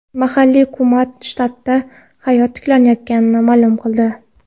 Mahalliy hukumat shtatda hayot tiklanayotganini ma’lum qildi.